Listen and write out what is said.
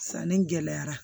Sanni gɛlɛyara